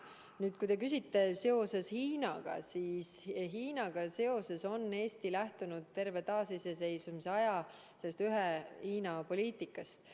Nüüd, kui te küsite Hiina kohta, siis Hiinaga seoses on Eesti lähtunud terve taasiseseisvuse aja ühe Hiina poliitikast.